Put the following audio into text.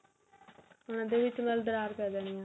ਉਹਨਾ ਦੇ ਵਿੱਚ ਮਤਲਬ ਦਰਾਰ ਪੈ ਜਾਣੀ ਹੈ